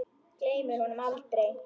Gleymir honum aldrei.